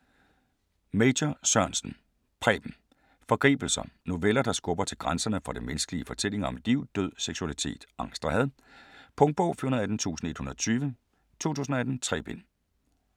Major Sørensen, Preben: Forgribelser Noveller, der skubber til grænserne for det menneskelige i fortællinger om liv, død, seksualitet, angst og had. Punktbog 418120 2018. 3 bind.